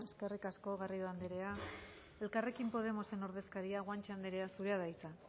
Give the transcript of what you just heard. eskerrik asko garrido andrea elkarrekin podemosen ordezkaria guanche anderea zurea da hitza